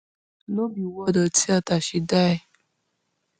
no be ward or theatre she die